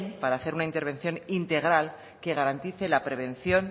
para hacer una intervención integral que garantice la prevención